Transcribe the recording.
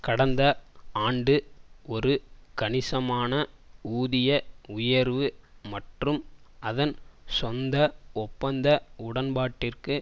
கடந்த ஆண்டு ஒரு கணிசமான ஊதிய உயர்வு மற்றும் அதன் சொந்த ஒப்பந்த உடன்பாட்டிற்கு